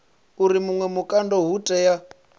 uri vhuṅwe vhukando ho tea